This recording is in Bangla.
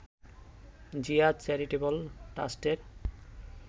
জিয়া চ্যারিটেবল ট্রাস্টের